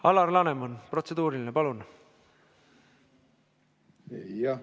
Alar Laneman, protseduuriline, palun!